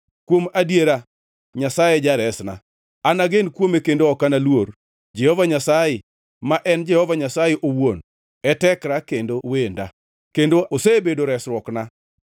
Kuom adiera Nyasaye e jaresna; anagen kuome kendo ok analuor. Jehova Nyasaye, ma en Jehova Nyasaye owuon, e tekra kendo wenda; kendo osebedo resruokna.”